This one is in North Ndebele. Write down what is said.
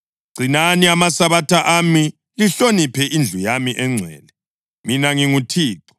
Gcinani amaSabatha ami, lihloniphe indlu yami engcwele. Mina nginguThixo.